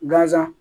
Gazan